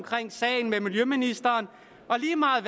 sagen med miljøministeren og lige meget